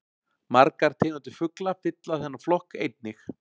Margar tegundir fugla fylla þennan flokk einnig.